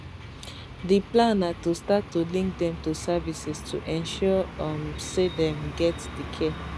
di plan na to start to link dem to services to ensure um say dem get di care